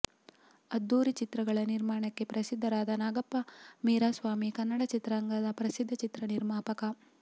ಅದ್ಧೂರಿ ಚಿತ್ರಗಳ ನಿರ್ಮಾಣಕ್ಕೆ ಪ್ರಸಿದ್ಧರಾದ ನಾಗಪ್ಪ ವೀರಾಸ್ವಾಮಿ ಕನ್ನಡ ಚಿತ್ರರಂಗದ ಪ್ರಸಿದ್ಧ ಚಿತ್ರ ನಿರ್ಮಾಪಕ